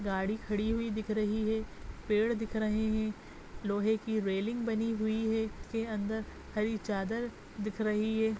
गाड़ी खड़ी हुई दिख रही है पेड़ दिख रही है लोहे की रेलिंग बनी हुई है गेट के अंदर हरी चादर दिख रही है।